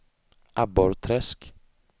Abborrträsk